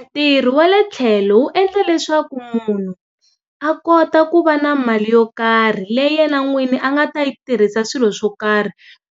Ntirho wa le tlhelo wu endla leswaku munhu a kota ku va na mali yo karhi leyi yena n'wini a nga yi tirhisa swilo swo karhi.